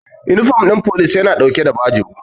Inifom ɗin police ya na ɗauke da bajo